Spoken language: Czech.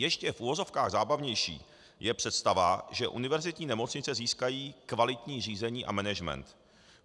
Ještě v uvozovkách zábavnější je představa, že univerzitní nemocnice získají kvalitní řízení a management.